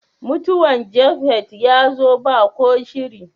Mutuwan "Japheth " ya zo ba ko shiri.